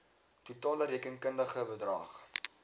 totale rekenkundige bedrag